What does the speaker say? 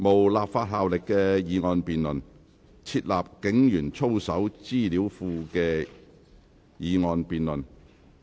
本會現在進行"設立警員操守資料庫"的議案辯論。